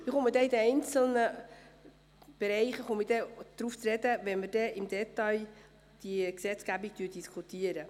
Ich komme in den einzelnen Bereichen darauf zu sprechen, wenn wir die Gesetzgebung im Detail diskutieren.